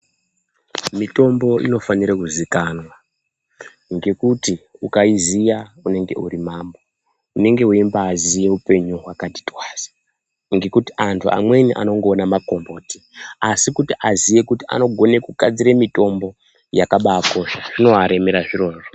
Mitombo inofanire kuzikanwa ngekuti ukaiziya unenge uri mambo. Unenge weimbaziya upenyu hwakati twasa ngekuti antu amweni anongoona makomboti asi kuti aziye kuti anogone kugadzira mitombo yakabakosha zvinoaremera zvirozvo.